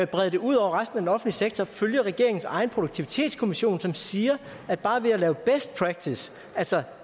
brede det ud over resten af den sektor følge regeringens egen produktivitetskommission som siger at bare ved at lave best practice altså